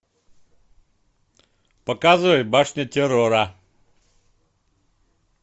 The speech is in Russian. показывай башня террора